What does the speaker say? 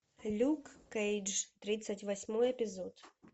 люк кейдж тридцать восьмой эпизод